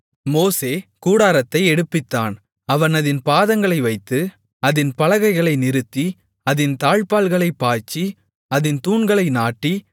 மோசே கூடாரத்தை எடுப்பித்தான் அவன் அதின் பாதங்களை வைத்து அதின் பலகைகளை நிறுத்தி அதின் தாழ்ப்பாள்களைப் பாய்ச்சி அதின் தூண்களை நாட்டி